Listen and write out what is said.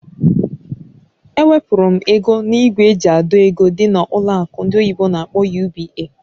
Ewepụrụ m ego na ìgwè eji àdọ́ ego dị na ụlọ akụ ndị oyibo n'akpọ "UBA".